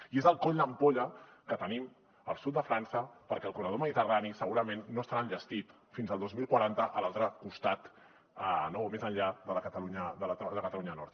i és el coll d’ampolla que tenim al sud de frança perquè el corredor mediterrani segurament no estarà enllestit fins al dos mil quaranta a l’altre costat o més enllà de la catalunya nord